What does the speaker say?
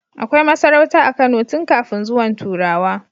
Akai masarauta a Kano tun kafin zuwan turawa